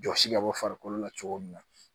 Jɔsi ka bɔ farikolo la cogo min na